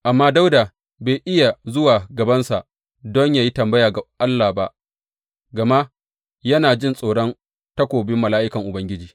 Amma Dawuda bai iya zuwa gabansa don yă yi tambaya ga Allah ba, gama yana jin tsoron takobin mala’ikan Ubangiji.